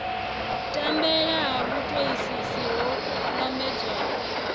tambela ha vhutoisisi ho lambedzwaho